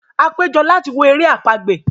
a pejọ lati wo èrè àpagbè